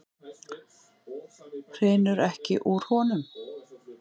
Hrinur ekki úr honum?